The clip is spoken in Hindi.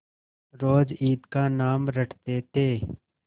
रोज ईद का नाम रटते थे